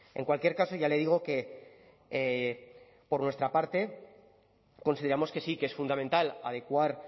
en cualquier caso ya le digo que por nuestra parte consideramos que sí que es fundamental adecuar